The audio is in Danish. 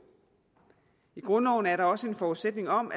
i grundloven er der også en forudsætning om